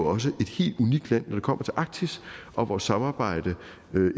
også et helt unikt land når det kommer til arktis og vores samarbejde